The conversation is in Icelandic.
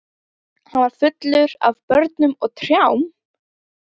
Hann var fullur af börnum og trjám.